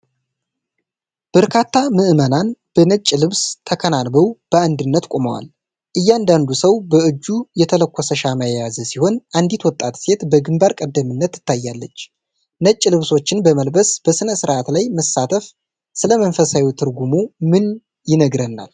በርካታ ምዕመናን በነጭ ልብስ ተከናንበው በአንድነት ቆመዋል። እያንዳንዱ ሰው በእጁ የተለኮሰ ሻማ የያዘ ሲሆን፣ አንዲት ወጣት ሴት በግንባር ቀደምትነት ትታያለች። ነጭ ልብሶችን በመልበስ በሥነ ሥርዓት ላይ መሳተፍ ስለ መንፈሳዊ ትርጉሙ ምን ይነግረናል?